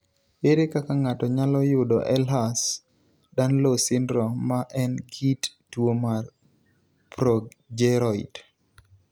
Ere kaka ng'ato nyalo yudo Ehlers Danlos syndrome ma en kit tuo mar progeroid?